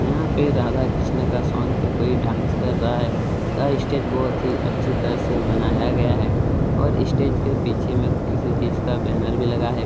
यहाँ पे राधा कृष्ण का सोंग पे कोई डांस कर रहा है और स्टेज बहुत ही अच्छी तरह से बनाया गया है और स्टेज के पीछे में किसी चीज का बैनर भी लगा है।